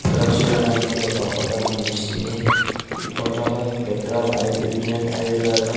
ఇక్కడొచ్చి చూడు యొక్క ఫోటో కన్పిస్తుంది. ఈ ఫోటో లో ఈ పెట్రోల్ ఆయిల్ ఇండియన్ ఆయిల్ లాగా --